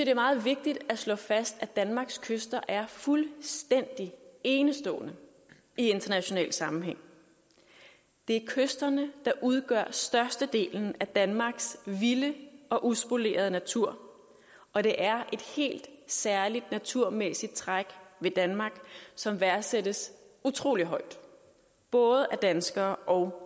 er meget vigtigt at slå fast at danmarks kyster er fuldstændig enestående i international sammenhæng det er kysterne der udgør størstedelen af danmarks vilde og uspolerede natur og det er et helt særligt naturmæssigt træk ved danmark som værdsættes utrolig højt både af danskere og